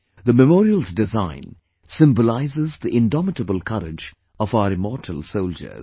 The Memorial's design symbolises the indomitable courage of our immortal soldiers